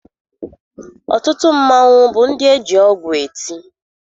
Ọtụtụ mmanwụ bụ ndị eji ọgwụ eti.